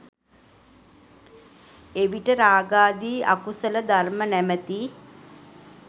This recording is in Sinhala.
එවිට රාගාදී අකුසල ධර්ම නමැති